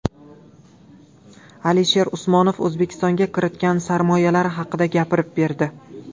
Alisher Usmonov O‘zbekistonga kiritgan sarmoyalari haqida gapirib berdi .